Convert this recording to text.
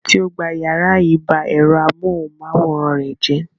Ẹni tó gba ìyàrá yìí ba ẹ̀rọ amóhùmáwòhán rẹ̀ jẹ́.